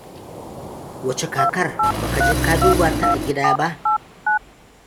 Wace kakar? Ba ka je ka duba ta a gida ba.